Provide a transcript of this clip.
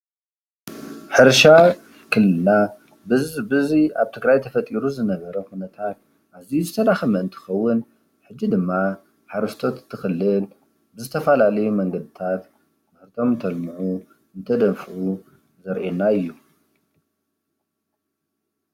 ሕርሻ ክልልና ብዚ ኣብ ትግራይ ተፈጢሩ ዝነበረ ኹነታት ኣዝዩ ዝተዳኸመ እንትኸውን ሕጂ ድማ ሓረስቶስ እቲ ኽልል ብዝተፈላለዩ መንገድታት ምህርቶም እንተልምዑ እንትደንፍዑ ዘርእየና እዩ፡፡